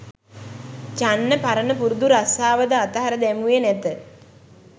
චන්න පරණ පුරුදු රස්‌සාවද අතහැර දැමුවේ නැත.